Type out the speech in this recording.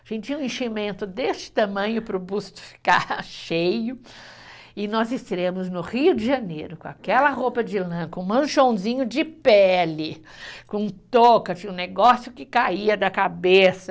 A gente tinha um enchimento desse tamanho para o busto ficar cheio e nós estreamos no Rio de Janeiro com aquela roupa de lã, com um manchãozinho de pele, com touca, negócio que caía da cabeça.